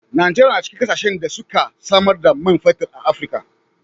Najeriya na cikin kasashen da suke samar da man fetir a Afrika.